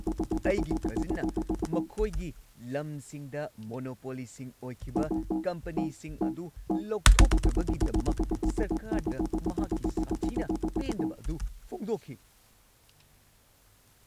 ꯑꯩꯒꯤ ꯀꯖꯤꯟꯅ ꯃꯈꯣꯏꯒꯤ ꯂꯝꯁꯤꯡꯗ ꯃꯣꯅꯣꯄꯣꯂꯤꯁꯤꯡ ꯑꯣꯏꯈꯤꯕ ꯀꯝꯄꯅꯤꯁꯤꯡ ꯑꯗꯨ ꯂꯧꯊꯣꯛꯇꯕꯒꯤꯗꯃꯛ ꯁꯔꯀꯥꯔꯗ ꯃꯍꯥꯛꯀꯤ ꯁꯥꯊꯤꯅ ꯄꯦꯟꯗꯕ ꯑꯗꯨ ꯐꯣꯡꯗꯣꯛꯈꯤ꯫